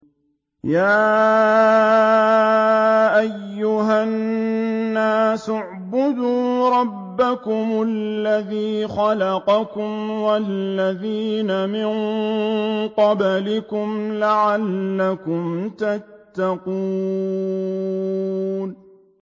يَا أَيُّهَا النَّاسُ اعْبُدُوا رَبَّكُمُ الَّذِي خَلَقَكُمْ وَالَّذِينَ مِن قَبْلِكُمْ لَعَلَّكُمْ تَتَّقُونَ